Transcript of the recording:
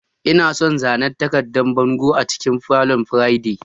Ina son zanen takardan bango a cikin falon Friday.